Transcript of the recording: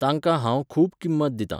तांकां हांव खूब किंमत दितां.